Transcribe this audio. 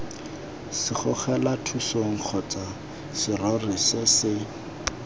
segogelathusong kgotsa serori se se